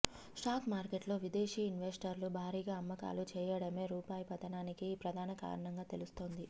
stock మార్కెట్లో విదేశీ ఇన్వెస్టర్లు భారీగా అమ్మకాలు చేయడమే రూపాయి పతనానికి ప్రధాన కారణంగా తెలుస్తోంది